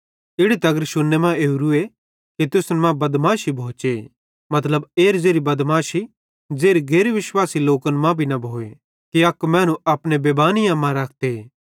इड़ी तगर शुन्ने मां ओरूए कि तुसन मां बदमाशी भोचे मतलब एरी बदमाशी ज़ेरी गैर विश्वासी लोकन मां भी न भोए कि अक मैनू अपने बेबानीअम्मा रखते